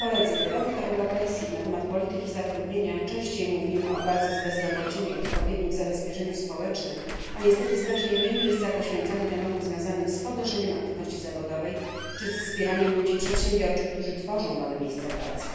W europejskich debatach na temat polityki zatrudnienia częściej mówimy o walce z bezrobociem i o odpowiednim zabezpieczeniu społecznym, a niestety znacznie mniej miejsca poświęcamy tematom związanym z podnoszeniem aktywności zawodowej czy wspieraniem ludzi przedsiębiorczych, którzy tworzą nowe miejsca pracy.